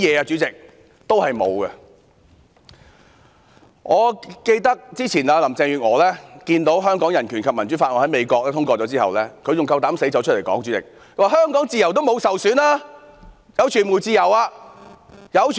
主席，我記得林鄭月娥之前看到《香港人權與民主法案》在美國通過後，還膽敢說香港的自由沒有受損，傳媒享有自由。